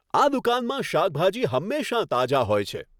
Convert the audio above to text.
આ દુકાનમાં શાકભાજી હંમેશા તાજા હોય છે.